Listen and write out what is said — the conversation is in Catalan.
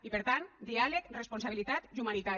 i per tant diàleg responsabilitat i humanitat